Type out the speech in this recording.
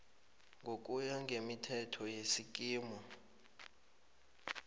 ngokuya ngemithetho yesikimu